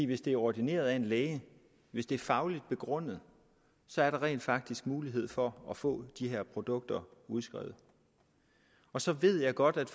hvis det er ordineret af en læge hvis det er fagligt begrundet så er der rent faktisk en mulighed for at få de her produkter udskrevet så ved jeg godt at